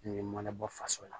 N'i ma na bɔ faso la